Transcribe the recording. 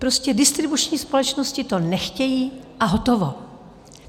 Prostě distribuční společnosti to nechtějí, a hotovo.